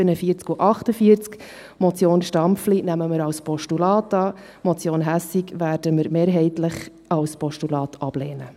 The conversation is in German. Die Motion Stampfli nehmen wir als Postulat an, die Motion Hässig werden wir mehrheitlich als Postulat ablehnen.